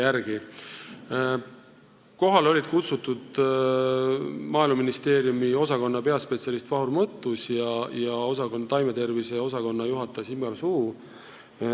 Istungile olid kohale kutsutud Maaeluministeeriumi taimetervise osakonna juhataja Sigmar Suu ja peaspetsialist Vahur Mõttus.